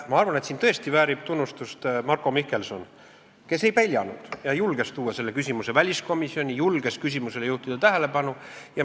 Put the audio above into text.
Ma arvan, et Marko Mihkelson väärib tõesti tunnustust, ta ei peljanud ja julges tuua selle küsimuse väliskomisjoni, julges küsimusele tähelepanu juhtida.